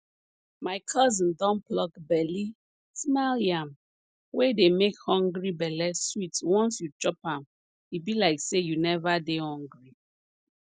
my cousin don pluck belly smile yam wey dey make hungry belle sweet once you chop am e be like say you never dey hungry